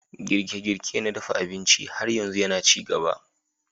Girke-girke na dafa abinci har yanzu yana ci gaba.